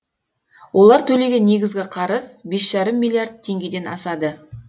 олар төлеген негізгі қарыз бес жарым миллиард теңгеден асады